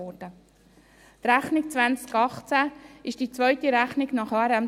Die Rechnung 2018 ist die zweite Rechnung nach HRM2.